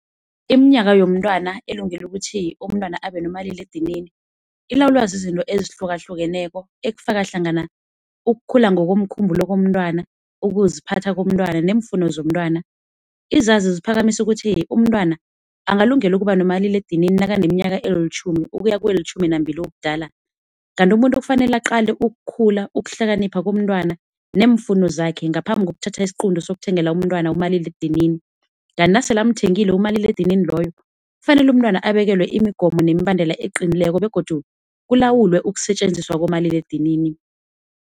Iminyaka yomntwana ilungelo kuthiwa umntwana abanenomaliledinini ilawulwa zizinto ezihlukahlukeneko ekufaka hlangana ukukhula ngokomkhumbulo komntwana, ukuziphatha komntwana neemfuno zomntwana. Izazi ziphakamisa ukuthi umntwana angalungela ukubanomaliledinini nakanelitjhumi ukuya kelitjhumi nambili ubudala. Kanti umuntu kufanele aqale ukukhula, ukuhlakanipha komntwana neemfuno zakhe ngaphambi kokuthatha isiqunto sokuthengela umntwana umaliledinini. Kanti nasele amthengile umaliledinini loyo, kufanele umntwana abekelwe imigomo nemibandela eqinileko begodu kulawulwe ukusetjenzisw kumaliledinini.